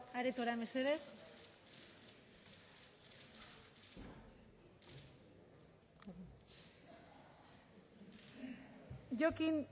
aretora mesedez jokin